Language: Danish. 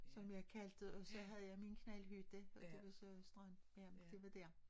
Som jeg kaldte det og så havde jeg min knaldhytte og det var så strand ja det var dér